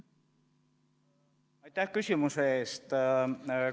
Aitäh küsimuse eest!